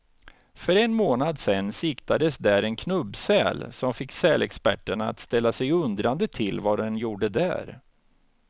För en månad sedan siktades där en knubbsäl, som fick sälexperterna att ställa sig undrande till vad den gjorde där.